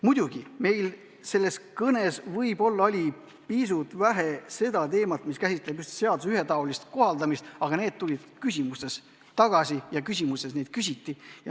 Muidugi, selles kõnes käsitleti võib-olla pisut vähe teemat, mis puudutab just seaduste ühetaolist kohaldamist, aga see teema tuli küsimustes kõneks.